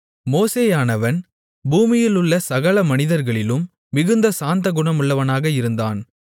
மோசேயானவன் பூமியிலுள்ள சகல மனிதர்களிலும் மிகுந்த சாந்தகுணமுள்ளவனாக இருந்தான்